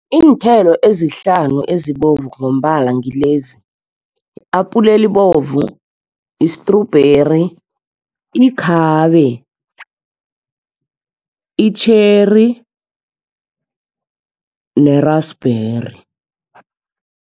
Iinthelo ezihlanu ezibovu ngombala ngilezi i-apule elibovu, istrubheri, ikhabe, i-cherry ne-raspberry.